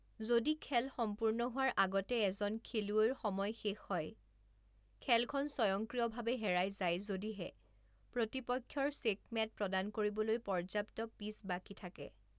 যদি খেল সম্পূৰ্ণ হোৱাৰ আগতে এজন খেলুৱৈৰ সময় শেষ হয়, খেলখন স্বয়ংক্ৰিয়ভাৱে হেৰাই যায় যদিহে প্ৰতিপক্ষৰ চেকমেট প্ৰদান কৰিবলৈ পৰ্যাপ্ত পিচ বাকী থাকে।